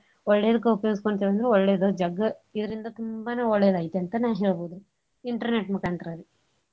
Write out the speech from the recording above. ಒಳ್ಳೇದ್ಕ ಉಪಯೋಗಸ್ಕೋತಿವಂದ್ರ ಒಳ್ಳೇದು ಜಗ್ಗಇದ್ರಿಂದ ತುಂಬಾನ ಒಳ್ಳೆದೈ ತೆಂತನ ಹೇಳ್ಬೋ internet ದು ಮುಕಾಂತ್ರ ರಿ.